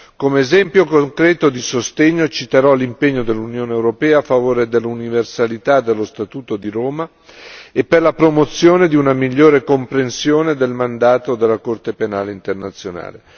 Come esempio concreto di sostegno citerò l'impegno dell'Unione europea a favore dell'universalità dello Statuto di Roma e per la promozione di una migliore comprensione del mandato della Corte penale internazionale.